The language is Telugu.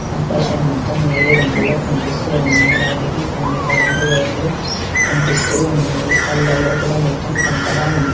ఆకాశం మొత్తం నీలిరంగులో కనిపిస్తూ ఉన్నాయ్ వాటికి కొన్ని కరెంటు వైర్లు కనిపిస్తూ ఉన్నాయి అల్లా లోపట మొత్తం కంకర ఉంది.